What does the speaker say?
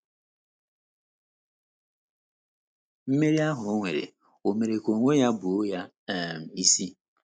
Mmeri ahụ o nwere, ò mere ka onwe ya buo ya um isi?